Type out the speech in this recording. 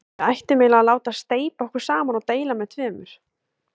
Við ættum eiginlega að láta steypa okkur saman og deila með tveimur.